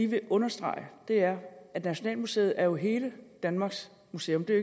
vil understrege er at nationalmuseet jo er hele danmarks museum det er